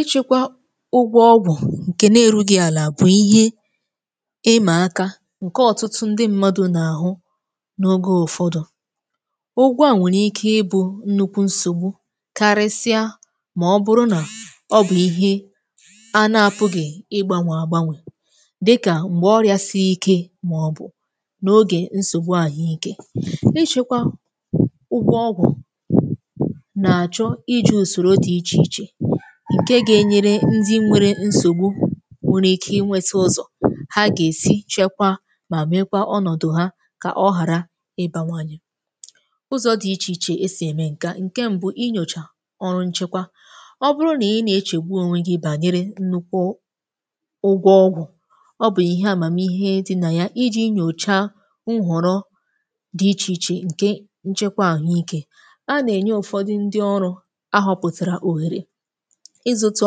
Ịchịkwa ụgwọ ọgwụ̀ ǹkè nà-eru gị àlà, bụ̀ ihe ịmà akȧ ǹkè ọ̀tụtụ ndị mmadụ̀ nà-àhụ n’oge ụ̀ ụfọdụ̀. Ụgwọ à nwèrè ike ịbụ̇ nnukwu nsògbu, karịsịa mà ọ bụrụ nà ọ bụ̀ ihe a nà-apụ̀ gị̀ ịgbànwà àgbanwè, dịkà m̀gbè ọríȧ sie ike màọbụ̀ n’ogè nsògbu àhụike. Ịchịkwa ụgwọ ọgwụ̀ nà-àchọ iji̇ ùsòrò dị iche-iche, ǹke gà-enyere ndị nwere nsògbu inwėtȧ ụzọ̀ ha gà-èsi chekwa mà mekwa ọnọ̀dụ̀ ha kà ọ ghàra ịbànwànye. Ụzọ̇ dị̇ iche-iche esì ème ǹke a: ǹke m̀bụ, inyòchà ọrụ nchekwa. Ọ bụrụ nà ị nà-echegbu ònwè gị bànyere nnukwu ụgwọ ọgwụ̀, ọ bụ̀ ihe àmàmihe dị nà ya iji̇ nyòcha nhọ̀rọ dị iche-iche ǹke nchekwa àhụike. A nà-ènye ụ̀fọdụ ndị ọrụ̇ ahọpụ̀tìrȧ òhèrè ịzụ̇tụ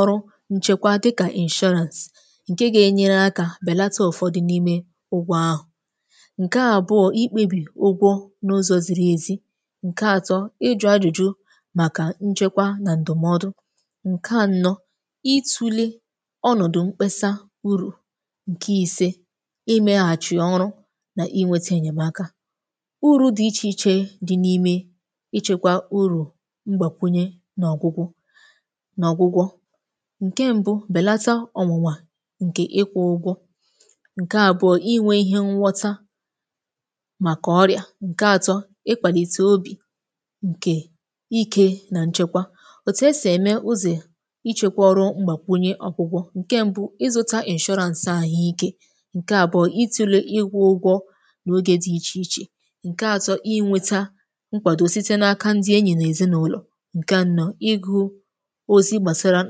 ọrụ nchekwa, dịkà insurance ǹke gà-enyere akȧ bèlata ụ̀fọdị n’ime ụgwọ ahụ̀. Ǹke àbụọ̄, ikpebì ụgwọ n’ụzọ̇ ziri ezi. Ǹke atọ, íjụ̇ ajụ̀jụ màkà nchekwa nà ǹdụ̀mọdụ. Ǹke anọ, itulè ọnọ̀dụ̀ mkpesa ùrù. Ǹke ise, ime ghàchie ọrụ nà ínweta ènyèmaka. Ụrù̇ dị iche-iche dị n’ime ịchekwa ùrù̇ mgbàkwunye nà ọgwụ̀gwu, nà ọgwụ̀gwo: ǹke ṁbụ̇, bèlata ọnwụ̇nwà ǹkè ịkwụ̇ ụgwọ̇; ǹke àbụọ̄, inwė ihe nghọta màkà ọríȧ; ǹke atọ, ịkwàlìtè obì ǹkè ikè nà nchekwa. Òtù esì ème ụzọ̀ ichėkwȧ ọrụ mgbàkwunye ọ̀kwụ̀gwọ̇: ǹke mbu̇, ịzụ̇ta insurance àhụ ikė; ǹke àbụọ̄, itulè ịkwụ ụgwọ̇ n’ogè dị iche-iche; ǹke atọ, inwėta nkwado site n’aka ndị enyi nà èzinàụlọ̀; ǹke ànọ̄, ịgụ̇ ozi gbasara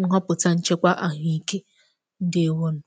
nchọpụta nchekwa àhụike. Ǹdéèwònù.